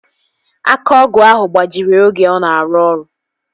Aka ọgụ ahụ gbajiri oge ọ na-arụ ọrụ